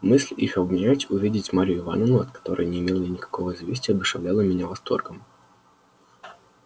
мысль их обнять увидеть марью ивановну от которой не имел я никакого известия одушевляла меня восторгом